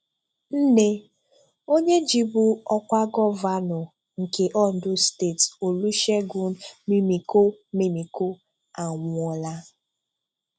Nne onye jibu ọ́kwá gọvanọ nke Ondo Steeti, Olusegun Mimiko, Mimiko, anwụọla.